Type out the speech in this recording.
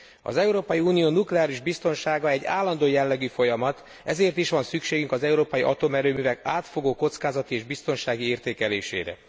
Az Európai Unió nukleáris biztonsága egy állandó jellegű folyamat, ezért is van szükségünk az európai atomerőművek átfogó kockázati és biztonsági értékelésére.